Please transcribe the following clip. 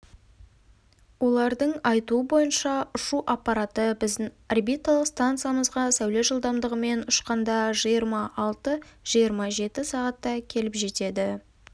олардың айтуы бойынша ұшу аппараты біздің орбиталық станциямызға сәуле жылдамдығымен ұшқанда жиырма алты-жиырма жеті сағатта келіп жетеді